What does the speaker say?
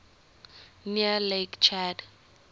near lake chad